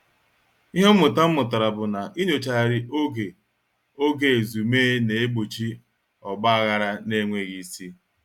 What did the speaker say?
Ihe mmụta m mụtara bụ na inyochaghari oge oge ezumee na-egbochi ogbaghara n'enweghị isi.